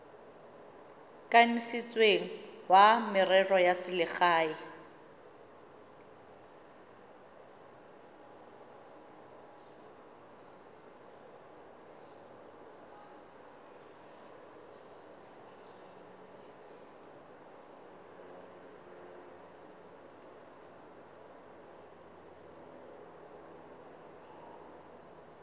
kanisitsweng wa merero ya selegae